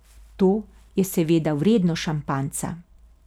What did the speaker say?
To je seveda vredno šampanjca.